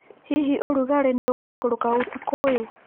Hihi ũrugarĩ nĩ ũgũikũrũka ũtukũ ũyũ?